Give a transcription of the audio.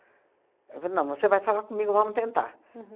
E falou, não, você vai falar comigo, vamos tentar. Uhum.